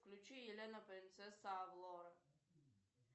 включи елена принцесса авалора